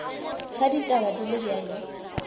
ge ditaba di le bjalo